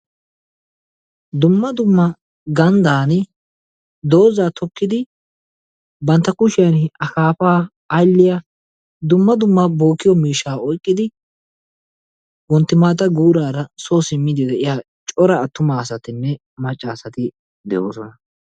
Dumma dumma gandaani dozzaa tokkidi bantta kushiyan akaafaa aylliya dumma dumma bokkiyo miishshaa oyqqidi wontti maata guuraara soo simiidi de'iya cora attuma asatinne macca asati de'oosona.